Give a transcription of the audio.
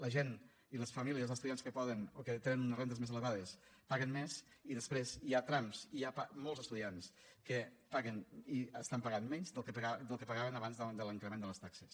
la gent i les famílies dels estudiants que poden o que tenen unes rendes més elevades paguen més i després hi ha trams i hi ha molts estudiants que paguen i estan pagant menys del que pagaven abans de l’increment de les taxes